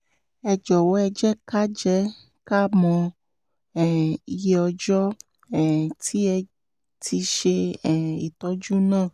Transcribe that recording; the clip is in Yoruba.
ẹ jọ̀wọ́ ẹ jẹ́ ká jẹ́ ká mọ um iye ọjọ́ um tí ẹ ti ṣe um ìtọ́jú náà